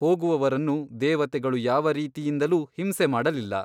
ಹೋಗುವವರನ್ನು ದೇವತೆಗಳು ಯಾವ ರೀತಿಯಿಂದಲೂ ಹಿಂಸೆಮಾಡಲಿಲ್ಲ.